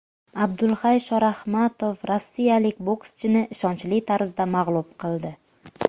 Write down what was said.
Abdulhay Shorahmatov rossiyalik bokschini ishonchli tarzda mag‘lub qildi.